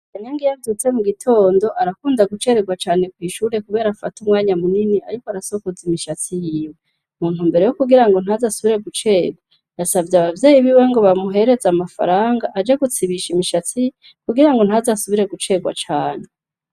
Kanyang iyavyutse mu gitondo arakunda gucererwa cane kw'ishure, kubera afata umwanya munini, ariko arasokoza imishatsi yiwe muntu mbere yo kugira ngo ntazi asubire gucerwa yasavye abavyeyi biwe ngo bamuhereze amafaranga aje gutsibisha imishatsi kugira ngo ntazi asubire gucerwa cane.